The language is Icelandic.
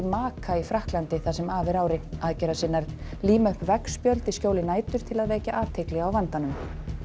maka í Frakklandi það sem af er ári aðgerðasinnar líma upp veggspjöld í skjóli nætur til að vekja athygli á vandanum